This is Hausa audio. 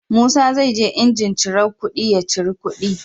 Musa zai je jinjin cirar kuɗi ya ciri kuɗi